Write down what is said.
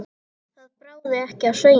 Það bráði ekki af Sveini.